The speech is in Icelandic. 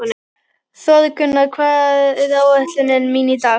Þórgunna, hvað er á áætluninni minni í dag?